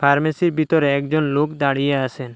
ফার্মেসির বিতরে একজন লোক দাঁড়িয়ে আছেন।